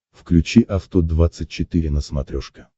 включи авто двадцать четыре на смотрешке